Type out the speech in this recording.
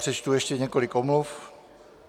Přečtu ještě několik omluv.